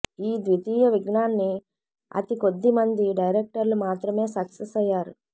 ఈ ద్వితీయ విఘ్నాన్ని అతికొద్ది మంది డైరెక్టర్లు మాత్రమే సక్సెస్ అయ్యారు